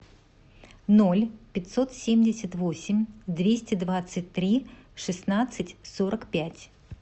ноль пятьсот семьдесят восемь двести двадцать три шестнадцать сорок пять